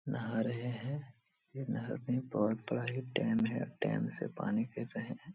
नहा रहे हैं नहर में बहुत बड़ा डैम है डैम से पानी गिर रहे है।